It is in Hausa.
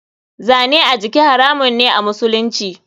Zane a jiki haramun me a musulunci.